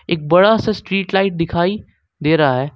एक बड़ा सा स्ट्रीट लाइट दिखाई दे रहा है।